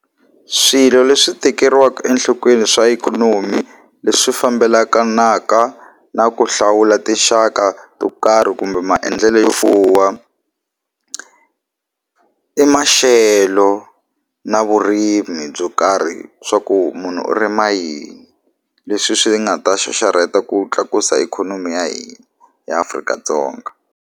Swilo leswi tekeriwaka enhlokweni swa ikhonomi leswi fambelakanaka na ku hlawula tinxaka to karhi kumbe maendlelo yo fuwa i maxelo na vurimi byo karhi swa ku munhu u rima yini leswi swi nga ta xaxarheta ku tlakusa ikhonomi ya hina eAfrika-Dzonga.